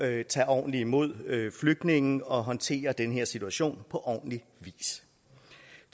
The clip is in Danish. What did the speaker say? at tage ordentligt imod flygtninge og håndtere den her situation på ordentlig vis